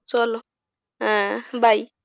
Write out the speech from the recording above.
চলো ah bye